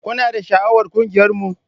Kuna da sha'awar ƙungiyarmu?